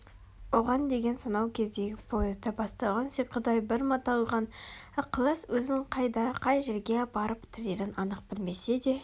оған деген сонау кездегі поезда басталған сиқырдай бір маталған ықылас өзін қайда қай жерге апарып тірерін анық білмесе де